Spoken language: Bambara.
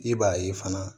I b'a ye fana